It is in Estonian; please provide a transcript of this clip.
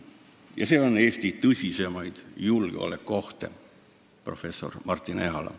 Ja see on Eesti tõsiseimaid julgeolekuohte, professor Martin Ehala.